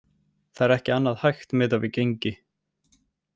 Það er ekki annað hægt miðað við gengi.